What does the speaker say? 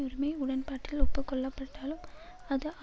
உரிமை உடன்பாட்டில் ஒப்புக்கொள்ளப்பட்டாலும் அது